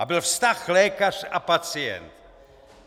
A byl vztah lékař a pacient.